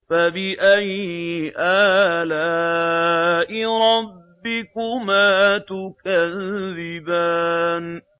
فَبِأَيِّ آلَاءِ رَبِّكُمَا تُكَذِّبَانِ